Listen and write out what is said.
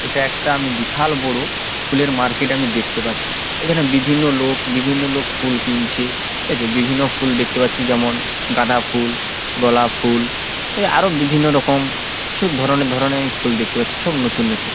এটা একটা আমি বিশাল বড় ফুলের মার্কেট আমি দেখতে পাচ্ছি। এখানে বিভিন্ন লোক বিভিন্ন লোক ফুল কিনছে ঠিক আছে। বিভিন্ন ফুল দেখতে পাচ্ছি যেমন গাঁদা ফুল গোলাপ ফুল। এ আরও বিভিন্ন রকম কিছু ধরনের ধরনের আমি ফুল দেখতে পাচ্ছি সব নতুন নতুন।